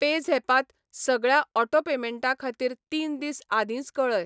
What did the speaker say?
PayZapp त सगळ्या auto पेमेंटां खातीर तीन दीस आदींच कऴय.